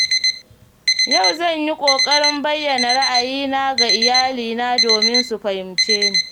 Yau zan yi ƙoƙarin bayyana ra'ayina ga iyalina domin su fahimce ni.